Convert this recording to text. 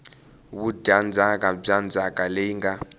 vudyandzhaka bya ndzhaka leyi nga